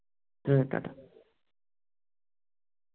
hmm ta ta